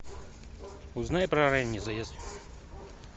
узнай про ранний заезд